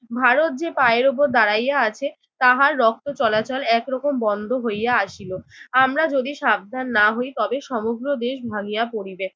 ভারত যে পায়ের উপর দাঁড়াইয়া আছে তাহার রক্ত চলাচল একরকম বন্ধ হইয়া আসিল। আমরা যদি সাবধান না হই তবে সমগ্র দেশ ভাঙ্গিয়া পড়িবে।